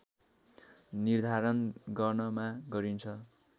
निर्धारण गर्नमा गरिन्छ